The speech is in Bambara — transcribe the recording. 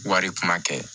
Wari kuma kɛ